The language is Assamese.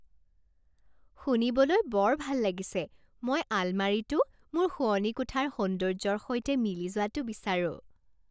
শুনিবলৈ বৰ ভাল লাগিছে! মই আলমাৰীটো মোৰ শোৱনি কোঠাৰ সৌন্দৰ্যৰ সৈতে মিলি যোৱাটো বিচাৰোঁ।